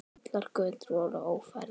Allar götur voru orðnar ófærar.